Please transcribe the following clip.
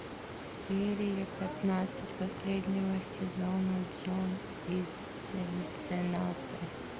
серия пятнадцать последнего сезона джон из цинциннати